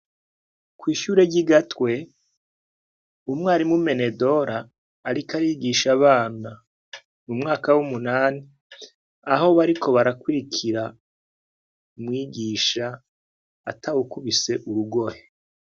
Kw'ishure ryi Gatwe, umwarimu Menedora ariko arigisha abana mu mwaka w'umunani, aho bariko barakurikira umwigisha atawukubise urugohe.